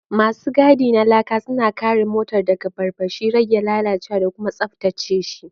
Masu gadi na Laka suna kare motar daga barbashi, rage lalacewa da kuma tsabtace shi.